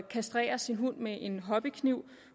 kastrere sin hund med en hobbykniv